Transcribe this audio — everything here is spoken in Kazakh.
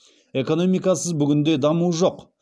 экономикасыз бүгінде даму жоқ